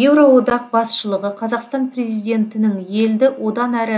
еуроодақ басшылығы қазақстан президентінің елді одан әрі